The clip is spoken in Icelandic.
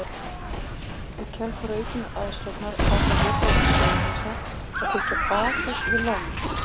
Í kjölfar aukinnar aðsóknar ákvað Hitaveita Suðurnesja að byggja baðhús við lónið.